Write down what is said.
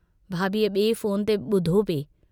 भाभीअ बिए फोन ते बुधो पिए।